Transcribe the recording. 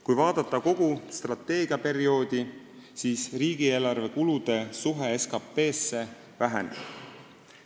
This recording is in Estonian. Kui vaadata kogu strateegiaperioodi, siis riigieelarve kulude suhe SKT-sse väheneb.